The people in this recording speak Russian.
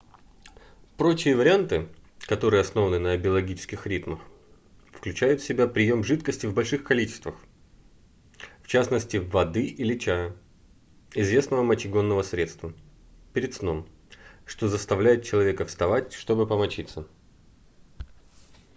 прочие варианты которые основаны на биологических ритмах включают в себя прием жидкости в больших количествах в частности воды или чая известного мочегонного средства перед сном что заставляет человека вставать чтобы помочиться